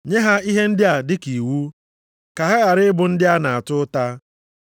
Nye ha ihe ndị a dịka iwu, ka ha ghara ị bụ ndị a na-ata ụta.